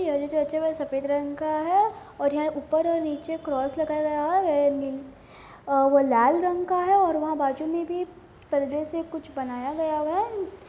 ये जो चर्च हैं जो सफेद रंग का है और यहाँ ऊपर और नीचे क्रॉस लगाया हुआ है और वो लाल रंग का है और वहाँ बाजू में भी पर्दे से कुछ बनाया गया है।